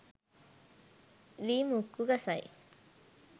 ලී මුක්කු ගසයි